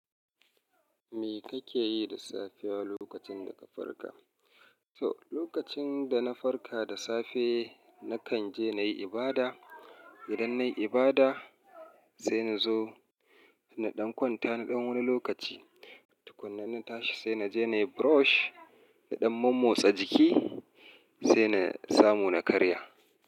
Me kake yi da safiya lokacin da ka farka? To, lokacin da na farka da safe, na kan je na yi ibada. Idan nayi ibada, sai na zo na ɗan kwanta na ɗan wani lokaci. Tukunna na tashi sai na je na yi brush, na ɗan mommotsa jiki sai na samu na karya.